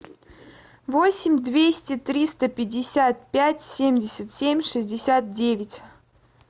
восемь двести триста пятьдесят пять семьдесят семь шестьдесят девять